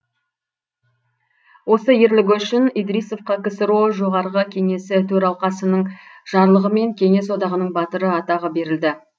осы ерлігі үшін идрисовқа ксро жоғарғы кеңесі төралқасының жарлығымен кеңес одағының батыры атағы берілді